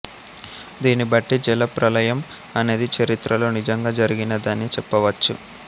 దీనిని బట్టి జలప్రళయం అనేది చరిత్రలో నిజంగా జరిగినదని చెప్పవచ్చు